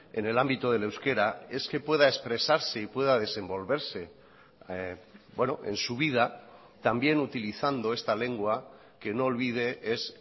en el ámbito del euskera es que pueda expresarse y pueda desenvolverse en su vida también utilizando esta lengua que no olvide es